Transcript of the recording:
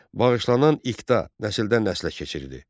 Bağışlanan iqta nəsildən nəslə keçirdi.